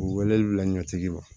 U wele la ɲɛtigi wa